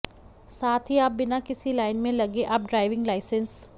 साथ ही आप बिना किसी लाइन में लगे आप ड्राइविंग लाइसेंस